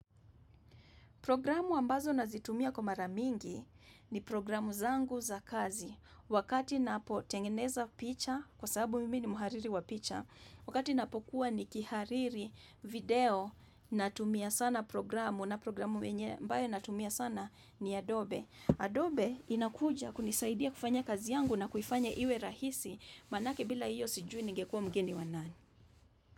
Programu ambazo nazitumia kwa maramingi ni programu zangu za kazi. Wakati napotengeneza picha, kwa sababu mimi ni muhariri wa picha, wakati ninapokuwa nikihariri video natumia sana programu, na programu wenye ambayo natumia sana ni Adobe. Adobe inakuja kunisaidia kufanya kazi yangu na kuifanya iwe rahisi, manake bila iyo sijui ningekuwa mgeni wa nani.